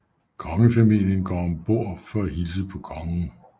Kongefamilien går ombord for at hilse på kongen